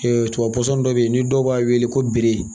tubabu dɔ bɛ yen ni dɔw b'a wele ko